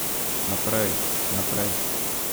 Naprej, naprej!